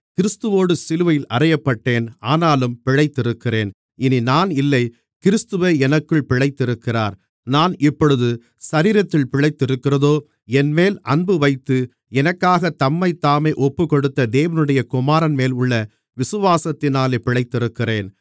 கிறிஸ்துவோடு சிலுவையில் அறையப்பட்டேன் ஆனாலும் பிழைத்திருக்கிறேன் இனி நான் இல்லை கிறிஸ்துவே எனக்குள் பிழைத்திருக்கிறார் நான் இப்பொழுது சரீரத்தில் பிழைத்திருக்கிறதோ என்மேல் அன்புவைத்து எனக்காகத் தம்மைத்தாமே ஒப்புக்கொடுத்த தேவனுடைய குமாரன்மேல் உள்ள விசுவாசத்தினாலே பிழைத்திருக்கிறேன்